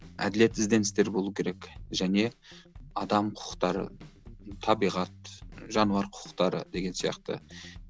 әділет ізденістер болу керек және адам құқықтары табиғат жануар құқықтары деген сияқты